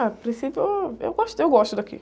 Ah, a princípio, eu, eu gosto, eu gosto daqui.